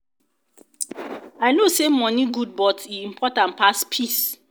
i know say money good but e important pass peace?